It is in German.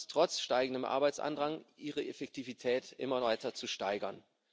Sie schafft es, trotz steigendem Arbeitsandrang, ihre Effektivität immer weiter zu steigern.